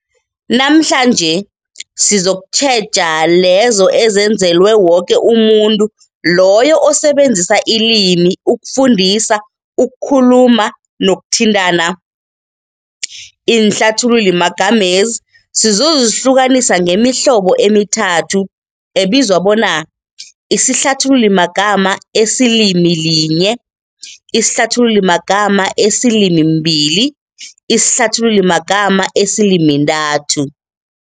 Namhlanje sizokutjheja lezo ezenzelwe woke umuntu loyo osebenzisa ilimi ukufundisa, ukukhuluma nokuthintana. Iinhlathululimagama lezi sizozihlukanisa ngemihlobo emithathu, ebizwa bona- isihlathululimagama esilimilinye, isihlathululimagama esilimimbili nesihlathululimagama esilimintathu.